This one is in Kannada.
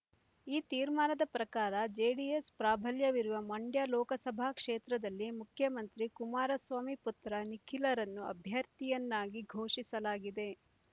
ಈ ತೀರ್ಮಾನದ ಪ್ರಕಾರ ಜೆಡಿಎಸ್ ಪ್ರಾಬಲ್ಯವಿರುವ ಮಂಡ್ಯ ಲೋಕಸಭಾ ಕ್ಷೇತ್ರದಲ್ಲಿ ಮುಖ್ಯಮಂತ್ರಿ ಕುಮಾರಸ್ವಾಮಿ ಪುತ್ರ ನಿಖಿಲ್‌ರನ್ನು ಅಭ್ಯರ್ಥಿಯನ್ನಾಗಿ ಘೋಷಿಸಲಾಗಿದೆ